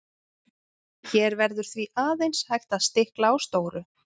hér verður því aðeins hægt að stikla á stóru